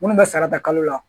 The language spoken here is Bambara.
Minnu bɛ sara ta kalo la